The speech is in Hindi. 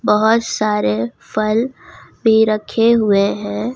बहुत सारे फल भी रखे हुए हैं।